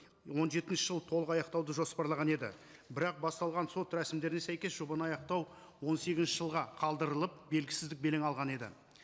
он жетінші жылы толық аяқтауды жоспарлаған еді бірақ басталған сот рәсімдеріне сәйкес жобаны аяқтау он сегізінші жылға қалдырылып белгісіздік белең алған еді